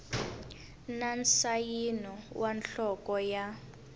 na nsayino wa nhloko ya